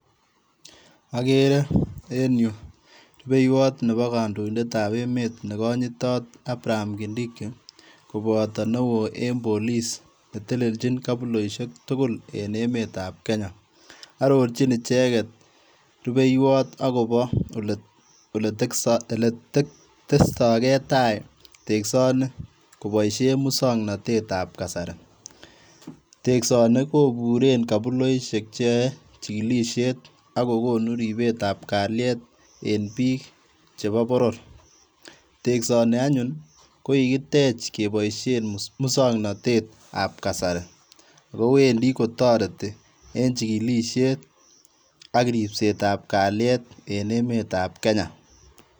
Okere en yu rupeiwot nebo kondoitetab emet negonyitot Abraham Kindiki koboto newo en police neteleljin kobuloisiek tugul en emetab Kenya ororjin icheget rupeiwot akobo ole testogetai tesksoni koboisien musoknotetab kasari tesksoni koburen kobuloisiek cheyoe chikilisiet akokonu ripetab kaliet en bik chebo boror teksoni anyun kokikitech keboisien musoknotetab kasari akowendi kotoreti en chikilisiet ak ripsetab kaliet en emetab Kenya.